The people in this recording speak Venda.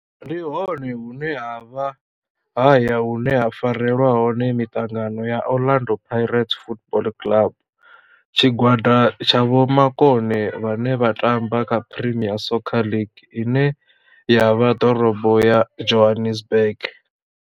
Ndi hone hune havha haya hune ha farelwa hone mitangano ya Orlando Pirates Football Club. Tshigwada tsha vhomakone vhane vha tamba kha Premier Soccer League ine ya vha ḓorobo ya Johannesburg.